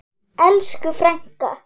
Elsku frænka!